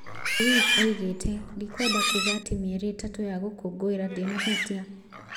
Ruiz oigĩte "ndikwenda kuuga atĩ mĩeri ĩtatũ ya gũkũngũĩra ndĩna hutia?